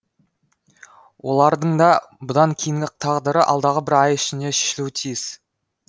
олардыңда бұдан кейінгі тағдыры алдағы бір ай ішінде шешілуі тиіс